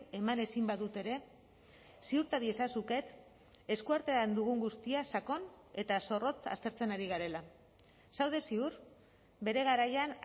eman ezin badut ere ziurta diezazuket eskuartean dugun guztia sakon eta zorrotz aztertzen ari garela zaude ziur bere garaian